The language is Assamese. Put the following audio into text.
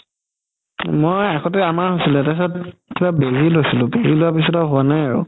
মই আগতে হৈছিলে তাৰ পাছত বেজি লইছিলো বেজি লোৱাৰ পিছত আৰু হুৱা নাই আৰু